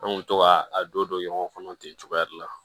An kun bɛ to ka a don don ɲɔgɔn kɔnɔ ten cogoya de la